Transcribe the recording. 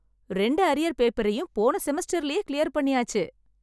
ரெண்டு அரியர் பேப்பரையும் போன செமஸ்டரிலேயே க்ளியர் பண்ணியாச்சு!